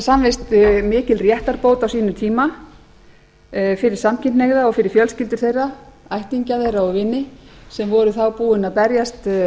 samvist mikil réttarbót á sínum tíma fyrir samkynhneigða og fyrir fjölskyldur þeirra ættingja þeirra og vini sem voru þá búin að berjast